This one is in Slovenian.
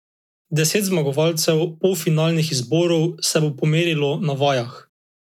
Deset zmagovalcev polfinalnih izborov se bo pomerilo na vajah.